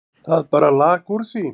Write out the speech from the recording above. Það bara lak úr því.